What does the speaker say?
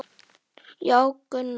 Já, Gunna.